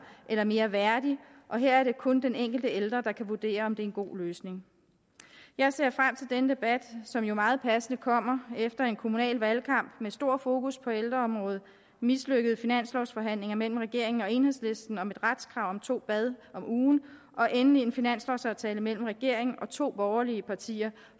eller mere værdig og her er det kun den enkelte ældre der kan vurdere om det er en god løsning jeg ser frem til denne debat som jo meget passende kommer efter en kommunal valgkamp med stort fokus på ældreområdet mislykkede finanslovsforhandlinger mellem regeringen og enhedslisten om et retskrav på to bade om ugen og endelig en finanslovsaftale mellem regeringen og to borgerlige partier